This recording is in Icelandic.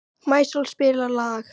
Maísól, spilaðu lag.